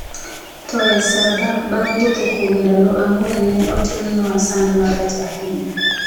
To e Saba, bang’ wuotho ​​kuom ndalo ang’wen, ne otimnwa sand marach ahinya.